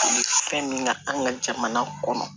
fɛn min ka an ka jamana kɔnɔ